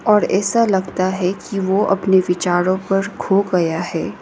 और ऐसा लगता है कि को अपने विचारों पर खो गया है।